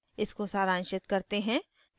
इसको सारांशित करते हैं